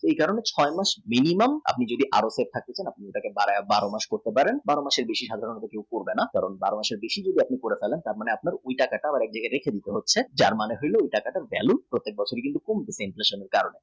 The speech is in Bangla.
এই কারণ ছয় মাস minimum আপনি earn করে থাকে এটা বারো মাস করতে পারেন বারো মাসের বেশি করবেন না বারো মাসের বেশি যদি করে ফেলেন তাহলে আপনি এই টাকাটার value কমে কমে যাচ্ছে inflation এর কারণে